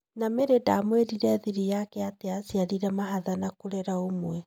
Na Mary ndamwĩrire thiri yake atĩ aciarire mahatha na kũrera ũmwe.